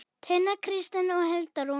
Tinna Kristín og Hulda Rún.